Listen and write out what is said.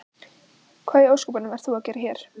Hvað í ósköpunum ert þú að gera hér?